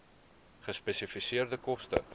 gespesifiseerde koste